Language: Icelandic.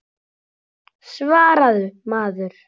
Svaraðu maður.